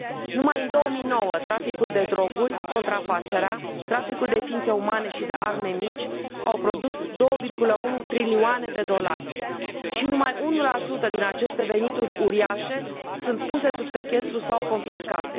Numai în 2009, traficul de droguri, contrafacerea, traficul de ființe umane și de arme mici au produs 2,1 trilioane de dolari și numai 1 din aceste venituri uriașe sunt puse sub sechestru sau confiscate.